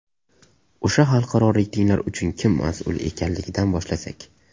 O‘sha xalqaro reytinglar uchun kim mas’ul ekanligidan boshlasak.